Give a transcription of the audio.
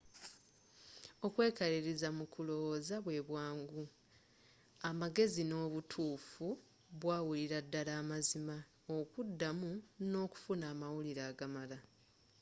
okwekaliriza mu kulowoza bwe bwangu, amagezi ne obutufu bwawulira ddala amazima okuda mu n’okufuna amawulire agamala